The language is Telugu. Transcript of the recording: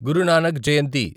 గురు నానక్ జయంతి